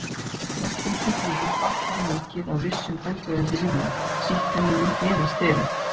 Flestum sjúklingum batnar mikið af vissum bólgueyðandi lyfjum, sýklalyfjum eða sterum.